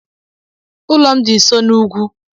Ụlọ m dị nso n'ugwú.